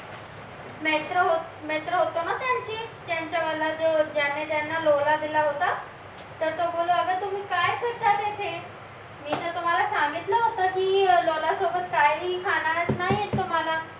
मित्र होतं ना त्यांचे त्याने ज्याला लोला दिला होता तर तो बोलला अगं तुम्ही काय करता असे मी तर तुम्हाला सांगितलं होतं की लोला सोबत काहीही खाता येणार नाही तुम्हाला